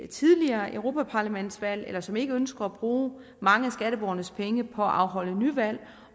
tidligere europaparlamentsvalg eller som ikke ønsker at bruge mange af skatteborgernes penge på at afholde nyvalg